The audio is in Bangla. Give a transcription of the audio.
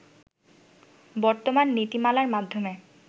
বর্তমান নীতিমালার মাধ্যমে